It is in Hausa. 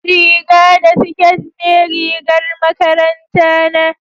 riga da siket ne rigar makaranta na